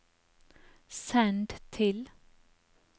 send til